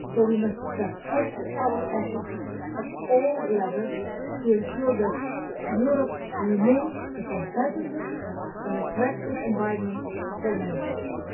So we must step up our efforts at all levels to ensure that Europe remains a competitive and attractive environment for manufacturing.